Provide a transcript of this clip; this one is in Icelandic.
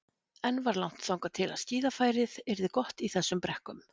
Enn var langt þangað til að skíðafærið yrði gott í þessum brekkum.